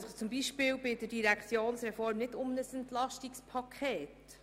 Die Direktionsreform gehört zum Beispiel nicht zum EP.